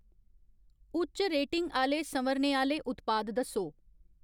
उच्च रेटिंग आह्‌ले संवरने आह्‌ले उत्पाद दस्सो।